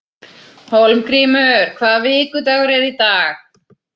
Hólmgrímur, hvaða vikudagur er í dag?